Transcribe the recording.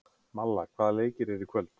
Malla, hvaða leikir eru í kvöld?